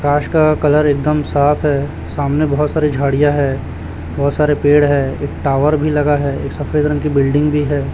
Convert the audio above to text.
कांच का कलर एकदम साफ है सामने बहुत सारी झाड़ियां है बहुत सारे पेड़ है एक टॉवर भी लगा है एक सफेद रंग की बिल्डिंग भी है।